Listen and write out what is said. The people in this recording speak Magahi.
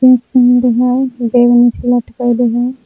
पेन्हले हई बैग नीचे लटकैले हई।